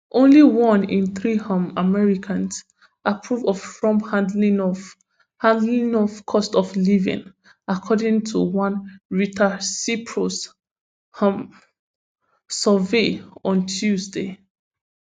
only one in three um americans approve of trump handling of handling of cost of living according to one reutersipsos um survey on tuesday